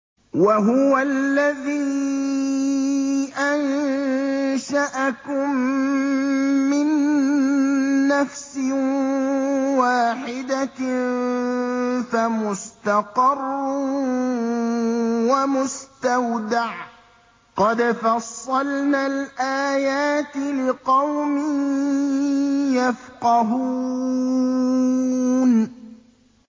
وَهُوَ الَّذِي أَنشَأَكُم مِّن نَّفْسٍ وَاحِدَةٍ فَمُسْتَقَرٌّ وَمُسْتَوْدَعٌ ۗ قَدْ فَصَّلْنَا الْآيَاتِ لِقَوْمٍ يَفْقَهُونَ